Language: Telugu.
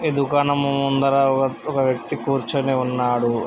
ఈ దుకాణము ముందర ఒక ఒక వ్యక్తి కూర్చుని ఉన్నాడు.